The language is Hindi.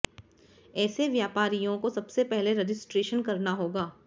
ऐसे व्यापारियों को सबसे पहले रजिस्ट्रेशन करना होगा